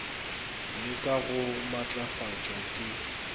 le ka go matlafatšwa ke